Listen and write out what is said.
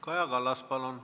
Kaja Kallas, palun!